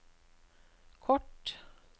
kort